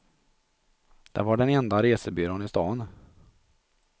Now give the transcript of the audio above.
Det var den enda resebyrån i staden.